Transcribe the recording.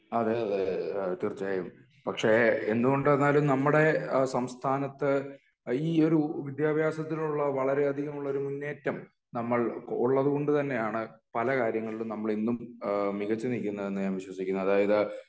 അതെയതെ തീർച്ചയായും പക്ഷെ എന്തുകൊണ്ടെന്നാൽ നമ്മുടെ സംസ്ഥാനത്ത് ഈ ഒരു വിധ്യാഭ്യാസത്തിലുള്ള വളരേ അധികമുള്ളൊരു മുന്നേറ്റം നമ്മൾ ഉള്ളത് കൊണ്ട് തന്നെ ആണ് പല കാര്യങ്ങളിൽ നമ്മൾ ഇന്നും ഇഹ് മികച്ച് നില്കുന്നത് എന്ന് ഞാൻ വിശ്വസിക്കുന്നു അതായത്